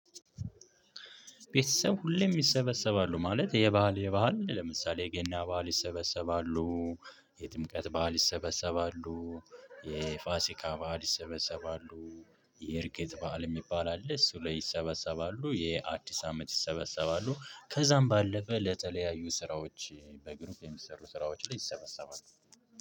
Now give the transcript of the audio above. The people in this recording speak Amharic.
ቤተሰብ ሁሌም ይሰበሰባሉ ማለት የባዓል የባዓል ለምሳሌ የገና ባዓል ይሰበሰባሉ- የጥምቀት በዓል ይሰበሰባሉ። የፋሲካ በዓል ይሰበሰባሉ። የእርገት በዓል የሚባል አለ እሱ ላይ ይሰበሰባሉ። የአዲስ አመት ይሰበሰባሉ። ከዛም ባለፈ ለተለያዩ ስራዎች በግሩፕ የሚሰሩ ስራዎች ላይ ይሰበሰባሉ።